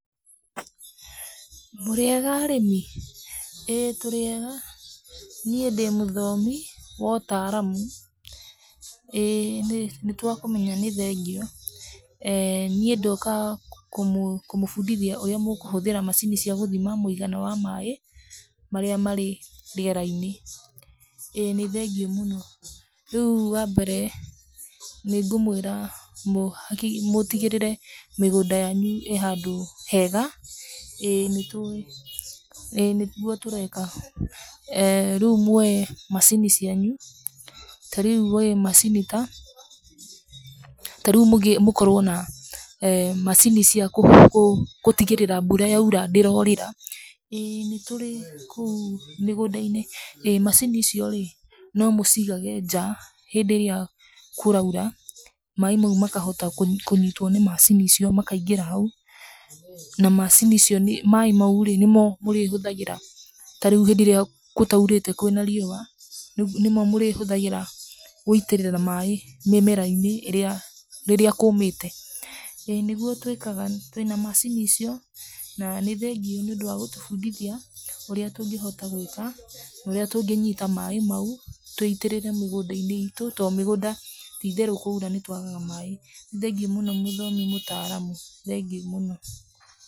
''Mũrĩega arĩmi?,''ĩĩ tũrĩega'',niĩ ndĩ mũthomi wa ũtaramu,''ĩĩ nĩtwakũmenya nĩthengio'' [ehh]niĩ ndoka kũmũbundithia ũrĩa mũkũhuthĩra macini cia gũthima mũigana wa maĩ marĩa marĩ rĩerainĩ,''ĩĩ nĩthengio mũno, rĩũ wa mbere nĩngũmwĩra mũtigĩrĩre mĩgũnda yanyu ĩhandũ hega,''ĩĩ nĩtũĩ'',''ĩĩ nĩguo tũreka''[eeh]rĩũ mwoe macini cianyu tarĩũ mwoe macini ta, tarĩũ mũkorwe na [eeh]macini cia gũtigĩrĩra mbura yaura ndĩrorĩra,''ĩĩ nĩtũrĩ kũu mĩgũndainĩ macini icio'' rĩ nomũcigage nja ,hĩndĩ ĩrĩa kũraura, maĩ maũ makahota kũnyitwo nĩ macini icio makaingĩra hau na maĩ mau ri nĩmo mũrĩhũthagĩra tarĩũ hĩndĩ ĩrĩa gũtaũrĩte kwĩna riũa nĩmo mũrĩhũthagĩra gũitĩrĩria maĩ mĩmerainĩ rĩrĩa kũmĩte,''ĩĩ nĩgũo twĩkaga ,twĩna macini icio na nĩthengio nĩũndũ wa gũtubundithia ũrĩa tũngĩhoma gwĩka naũrĩa tũngĩnyita maĩ maũ twĩitĩrĩre mĩgũnda itũ, tondũ mĩgunda ti itherũ kwaũra nĩtwagaga maĩ, nĩthengio mũno mũtaramu ,thengiũ mũno.''